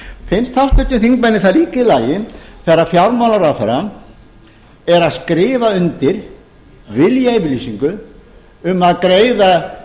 finnst háttvirtum þingmanni það líka í lagi þegar fjármálaráðherrann er að skrifa undir viljayfirlýsingu um að greiða